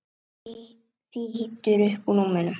Hann þýtur upp úr rúminu.